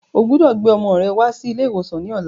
Ọgbọdọ̀ gbé ọmọ rẹ wá sí ilé ìwòsàn ní ọ̀la.